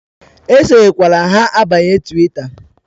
E sonyekwa ha abanyela Twita!